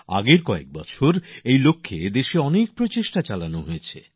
গত কিছু বছরে এই লক্ষ্যে দেশে অনেক প্রযাস নেওয়া হয়েছে